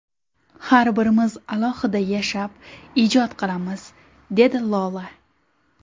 Har birimiz alohida yashab, ijod qilamiz”, dedi Lola.